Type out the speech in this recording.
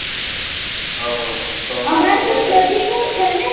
ઓંહ સોમનાથ અમારે તો નજીક જ છે ને